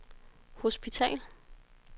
hospital